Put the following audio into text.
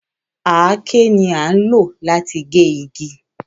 Àáké ni à ń lò láti gé igi